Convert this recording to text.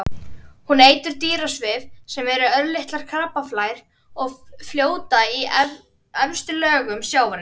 Hún étur dýrasvif sem eru örlitlar krabbaflær sem fljóta um í efstu lögum sjávarins.